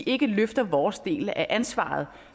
ikke løfter vores del af ansvaret